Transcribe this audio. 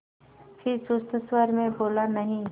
फिर सुस्त स्वर में बोला नहीं